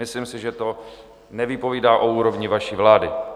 Myslím si, že to nevypovídá o úrovni vaší vlády.